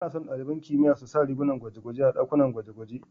Ana so ɗaliban kimiyya su sa rigar gwaje-gwaje a ɗakin gwaje-gwaje.